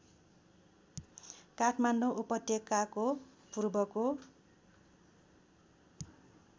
काठमाडौँ उपत्यको पूर्वको